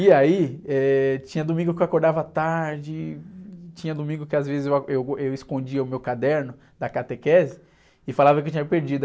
E aí, eh, tinha domingo que eu acordava tarde, tinha domingo que às vezes eu, a, eu, eu escondia o meu caderno da catequese e falava que eu tinha perdido.